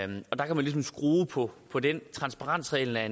og der kan man ligesom skrue på på den transparensreglen er